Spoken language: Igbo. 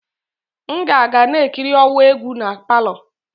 M ga-aga na-ekiri ọwa egwu na palọ.